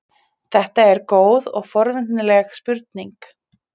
þetta er góð og forvitnileg spurning